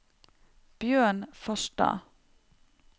Bjørn Farstad